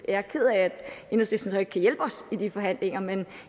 er ked af at enhedslisten så ikke kan hjælpe os i de forhandlinger men